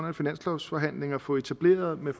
en finanslovsforhandling at få etableret med